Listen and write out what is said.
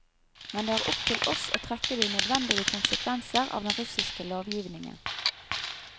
Men det er opp til oss å trekke de nødvendige konsekvenser av den russiske lovgivningen.